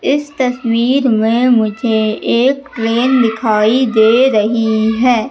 इस तस्वीर में मुझे एक ट्रेन दिखाई दे रही है।